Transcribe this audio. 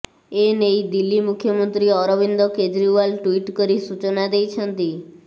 ଏନେଇ ଦିଲ୍ଲୀ ମୁଖ୍ୟମନ୍ତ୍ରୀ ଅରବିନ୍ଦ କେଜ୍ରିଓ୍ବାଲ ଟ୍ବିଟ୍ କରି ସୂଚନା ଦେଇଛନ୍ତି